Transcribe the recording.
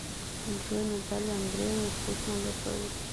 джой наталья андреевна вкусно готовит